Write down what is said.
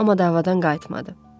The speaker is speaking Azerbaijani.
Amma davadan qayıtmadı.